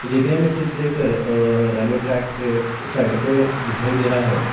दिखने में चित्र एक रेलवे ट्रैक के साइड पर दिखाई दे रहा है।